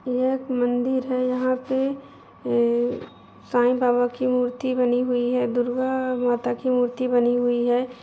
ये एक मंदिर है यहाँ पे ये साईं बाबा की मूर्ति बनी हुई है दुर्गा माता की मूर्ति बनी हुई है।